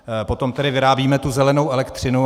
Potom tedy vyrábíme tu zelenou elektřinu.